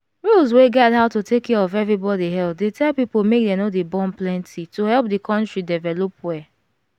rules wey guide how to take care of everybody health dey tell people make dem no dey born plenty to help the country develop well.